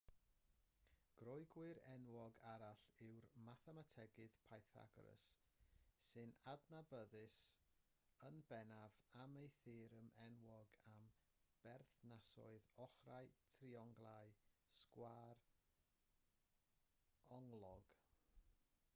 groegwr enwog arall yw'r mathemategydd pythagoras sy'n adnabyddus yn bennaf am ei theorem enwog am berthnasoedd ochrau trionglau sgwâr-onglog